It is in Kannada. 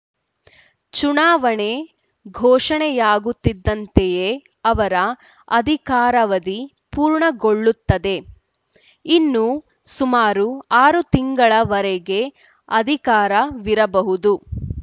ಚುನಾವಣೆ ಘೋಷಣೆಯಾಗುತ್ತಿದ್ದಂತೆಯೇ ಅವರ ಅಧಿಕಾರಾವಧಿ ಪೂರ್ಣಗೊಳ್ಳುತ್ತದೆ ಇನ್ನು ಸುಮಾರು ಆರು ತಿಂಗಳ ವರೆಗೆ ಅಧಿಕಾರವಿರಬಹುದು